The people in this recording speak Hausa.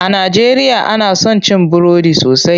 A najeriya ana son cin burodi sosai.